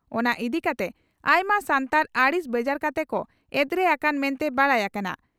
ᱚᱱᱟ ᱤᱫᱤᱠᱟᱛᱮ ᱟᱭᱢᱟ ᱥᱟᱱᱛᱟᱲ ᱟᱹᱲᱤᱥ ᱵᱮᱡᱟᱨ ᱠᱟᱛᱮ ᱠᱚ ᱮᱫᱽᱨᱮ ᱟᱠᱟᱱᱟ ᱢᱮᱱᱛᱮ ᱵᱟᱰᱟᱭ ᱟᱠᱟᱱᱟ ᱾